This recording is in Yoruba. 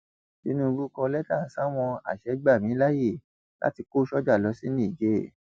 tinubu kọ lẹtà sáwọn àṣẹ gbà mí láàyè láti kó sọjà lọ sí niger